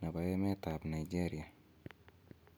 nebo emetab Nigeria